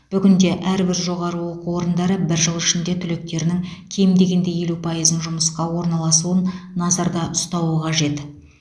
бүгінде әрбір жоғары оқу орындары бір жыл ішінде түлектерінің кем дегенде елу пайызын жұмысқа орналасуын назарда ұстауы қажет